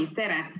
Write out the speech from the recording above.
Tere!